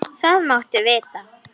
Það máttu vita.